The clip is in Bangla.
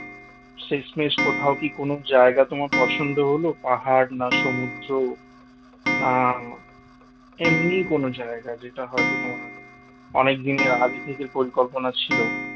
শেষমেষ কোথাও কি কোন জায়গা তোমার পছন্দ হলো পাহাড় না সমুদ্র না এমনি কোন জায়গা যেটা হয়তো তোমার অনেক দিনের আগে থেকে পরিকল্পনা ছিল